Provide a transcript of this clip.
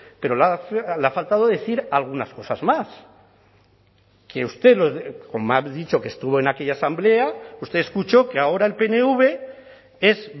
pero le ha faltado decir algunas cosas más que usted como ha dicho que estuvo en aquella asamblea usted escuchó que ahora el pnv es